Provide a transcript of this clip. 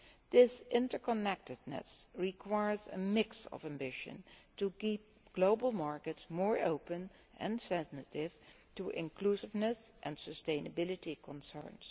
This interconnectedness requires a mix of ambition to keep global markets more open and sensitive to inclusiveness and sustainability concerns.